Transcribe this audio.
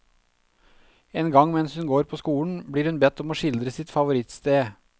En gang mens hun går på skolen, blir hun bedt om å skildre sitt favorittsted.